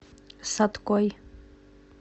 саткой